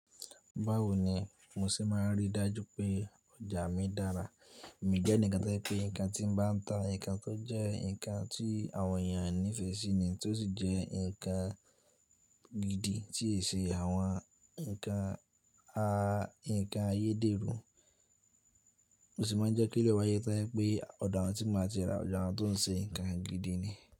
Báwo ni mo ṣe máa n rí dájú pé ọjà mi dára? Èmi jẹ́ eǹikan tẹ́lẹ̀ pé nǹkan tí mo bá ń ta, ǹkan tó jẹ́ ǹkan tí àwọn ènìyàn nífẹ̀ẹ́ sí ni, tí ó sì jẹ́ ǹkan gidi tí ì ṣe àwọn ǹkan a, ǹkan ayédèrú. Mo sì máa ń jẹ́ kí ìru e wáyé to je pé ọ̀do awon tí ma ti ra, ọdo awon tó ń ṣe ǹkan gidi ni.